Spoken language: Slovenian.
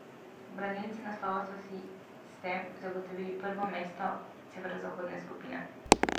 Branilci naslova so si s tem zagotovili prvo mesto severozahodne skupine.